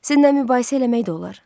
Sizinlə mübahisə eləmək də olar.